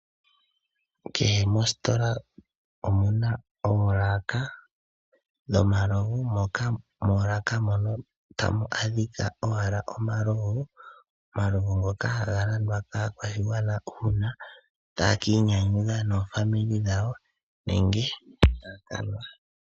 Kehe mostola omuna oolaka dho malovu. Mooloka moka ta mu adhika owala omalovu, omalovu ngoka haga landwa kaa kwashigwana uuna taya ka iinyanyudha noofamili dhawo nenge taya kanwa.